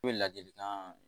I bɛ ladilikan